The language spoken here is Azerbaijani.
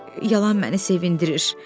Yalan məni sevindirir.